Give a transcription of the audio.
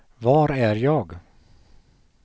var är jag